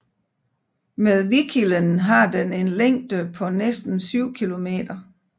Med Vikkilen har den en længde på næsten 7 kilometer